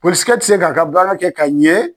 Polisikɛ tɛ se k'a ka baara kɛ ka ɲɛ.